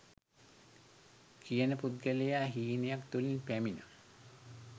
කියන පුද්ගලයා හීනයක් තුලින් පැමින